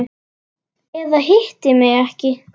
Eða hitti mig ekki.